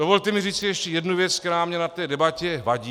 Dovolte mi říci ještě jednu věc, která mně na té debatě vadí.